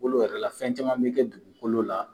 Olu yɛrɛ la fɛn caman bɛ kɛ dugukolo la